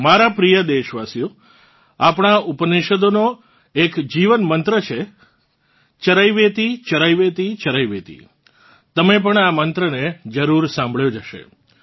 મારાં પ્રિય દેશવાસીઓ આપણાં ઉપનિષદોનો એક જીવનમંત્ર છે चरैवेतिचरैवेतिचरैवेति તમે પણ આ મંત્રને જરૂર સાંભળ્યો જ હશે